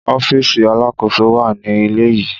Ọfiisi Alakoso wa ni ile yii.